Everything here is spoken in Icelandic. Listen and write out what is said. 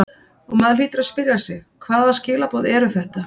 Og maður hlýtur að spyrja sig hvaða skilaboð eru þetta?